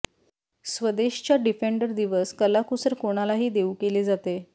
स्वदेश च्या डिफेंडर दिवस कलाकुसर कोणालाही देऊ केले जाते